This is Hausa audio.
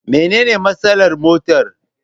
Mene ne matsalar motar?